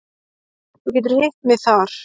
Þú getur hitt mig þar.